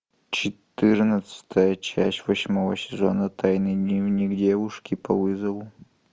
четырнадцатая часть восьмого сезона тайный дневник девушки по вызову